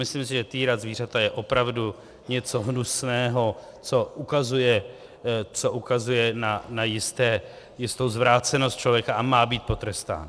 Myslím si, že týrat zvířata je opravdu něco hnusného, co ukazuje na jistou zvrácenost člověka, a má být potrestán.